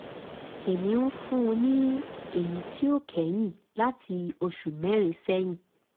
èmi ń fún un ní èyí tí ó kẹ́yìn láti oṣù mẹ́rin sẹ́yìn